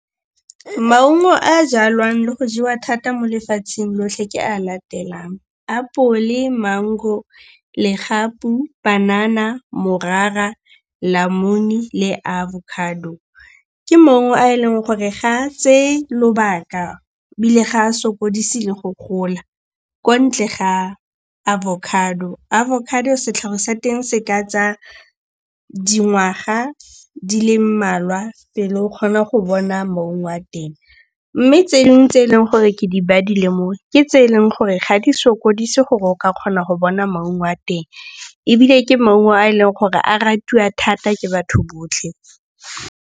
Maungo a a jalwang le go jewa thata mo lefatsheng lotlhe ke a latelang, apole, mango, legapu, panana, morara, namune le avocado. Ke maungo a eleng gore ga a tseye lobaka ebile ga a sokodise le go gola kwa ntle ga avocado. Avocado setlhare sa teng se ka tsaya dingwaga di le mmalwa pele o kgona go bona maungo a teng mme tse dingwe tse eleng gore ke di badile mo ke tse e leng gore ga di sokodise gore o ka kgona go bona maungo a teng, ebile ke maungo a e leng gore a ratiwa thata ke batho botlhe.